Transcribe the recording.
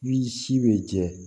Ni si bɛ jɛ